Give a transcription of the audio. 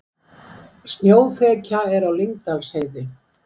Snjóþekja er á Lyngdalsheiði